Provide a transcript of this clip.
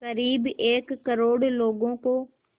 क़रीब एक करोड़ लोगों को